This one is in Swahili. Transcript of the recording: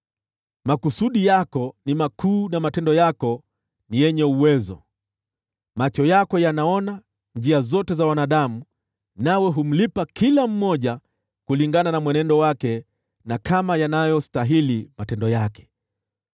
makusudi yako ni makuu, na matendo yako ni yenye uwezo. Macho yako yanaona njia zote za wanadamu, nawe humlipa kila mmoja kulingana na mwenendo wake, na kama yanavyostahili matendo yake.